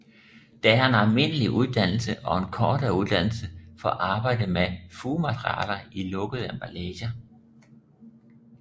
Der er en almindelig uddannelse og en kortere uddannelse for arbejde med fugematerialer i lukkede emballager